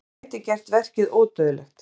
Ég gæti gert verkið ódauðlegt.